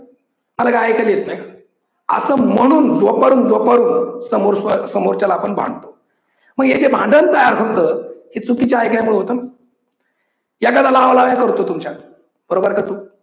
मला काय ऐकायला येत नाही का असं म्हणून जोपर्यंत जोपर्यंत समोरच्याला समोरच्याला आपण भांडतो मग हे जे भांडण तयार होतं ते चुकीच ऐकल्यामुळे होत एखाद्या लावालाव्या करतो तुमच्या बरोबर का चूक?